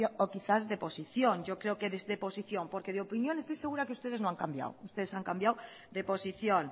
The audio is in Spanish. o quizás de posición yo creo que de posición porque de opinión estoy segura que ustedes no han cambiado ustedes han cambiado de posición